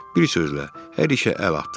Bir sözlə, hər işə əl atdılar.